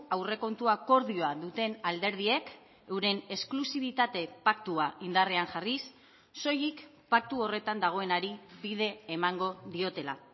aurrekontu akordioa duten alderdiek euren esklusibitate paktua indarrean jarriz soilik paktu horretan dagoenari bide emango diotela